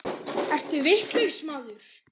Ertu vitlaus maður?